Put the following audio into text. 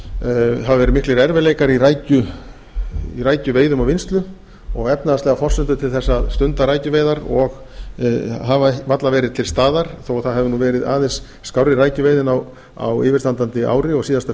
hafa verið miklir erfiðleikar í rækjuveiðum og vinnslu og efnahagslegar forsendur til þess að stunda rækjuveiðar hafa varla verið til staðar þó að það hafi verið aðeins skárri rækjuveiðin á yfirstandandi ári og síðasta